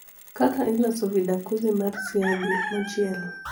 kaka iloso vidakuzi mar siagi mochiel